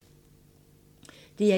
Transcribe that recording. DR1